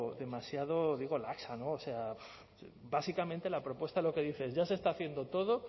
demasiado digo laxa o sea básicamente la propuesta lo que dice es ya se está haciendo todo